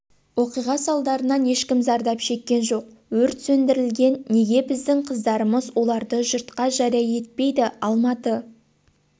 оқиға салдарынан ешкім зардап шеккен жоқ өрт сөндірілген неге біздің қыздарымыз оларды жұртқа жария етпейді алматы